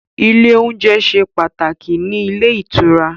Ile oúnjẹ ṣe pàtàkì ní ilé ìtura